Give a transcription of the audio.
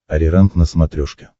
ариранг на смотрешке